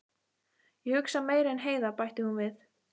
Ég hugsa meira en Heiða, bætti hún við.